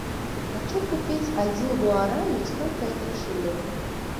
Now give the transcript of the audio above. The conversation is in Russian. хочу купить один гуарани сколько это в шиллингах